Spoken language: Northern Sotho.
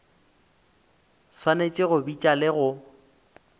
swanetše go bitša le go